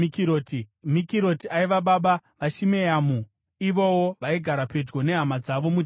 Mikiroti aiva baba vaShimeamu. Ivowo vaigara pedyo nehama dzavo muJerusarema.